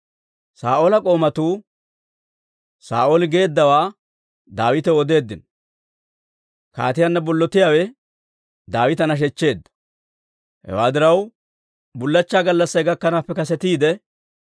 Saa'oola k'oomatuu Saa'ooli geeddawaa Daawitaw odeeddino; kaatiyaanna bollotiyaawe Daawita nashechcheedda. Hewaa diraw, bullachchaa gallassay gakkanaappe kasetiide,